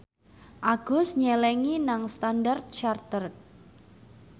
Agus nyelengi nang Standard Chartered